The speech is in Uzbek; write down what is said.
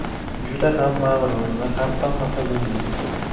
Juda ham mag‘rur va hatto xafa bo‘lgan.